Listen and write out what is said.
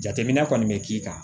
Jateminɛ kɔni bɛ k'i kan